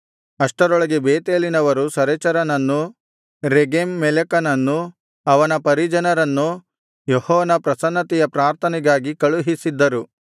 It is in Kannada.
ಅಷ್ಟರೊಳಗೆ ಬೇತೇಲಿನವರು ಸರೆಚರನನ್ನೂ ರೆಗೆಮ್ ಮೆಲೆಕನನ್ನೂ ಅವನ ಪರಿಜನರನ್ನೂ ಯೆಹೋವನ ಪ್ರಸನ್ನತೆಯ ಪ್ರಾರ್ಥನೆಗಾಗಿ ಕಳುಹಿಸಿದ್ದರು